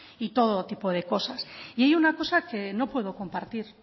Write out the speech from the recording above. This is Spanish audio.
y todo tipo de cosas y hay una cosa que no puedo compartir